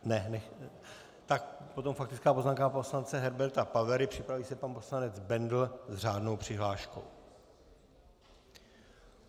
Tak potom faktická poznámka poslance Herberta Pavery, připraví se pan poslanec Bendl s řádnou přihláškou.